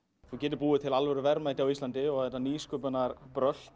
þú getir búið til alvöru verðmæti á Íslandi og þetta